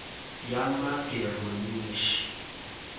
yamageronishi